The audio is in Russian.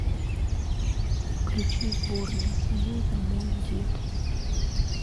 включи сборная союза мой дед